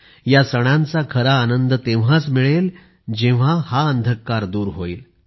या सणांचा खरा आनंद तेव्हाच मिळेल जेव्हा हा अंधकार दूर होईल